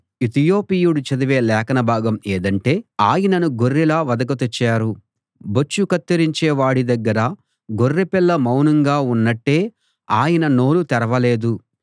ఇతియోపీయుడు చదివే లేఖనభాగం ఏదంటే ఆయనను గొర్రెలా వధకు తెచ్చారు బొచ్చు కత్తిరించే వాడి దగ్గర గొర్రెపిల్ల మౌనంగా ఉన్నట్టే ఆయన నోరు తెరవలేదు